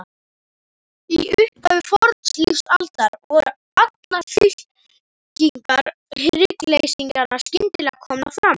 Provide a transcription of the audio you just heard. Í upphafi fornlífsaldar voru allar fylkingar hryggleysingjanna skyndilega komnar fram.